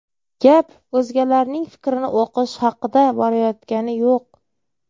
Gap o‘zgalarning fikrini o‘qish haqida borayotgani yo‘q.